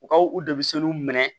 U ka u dɛsɛliw minɛ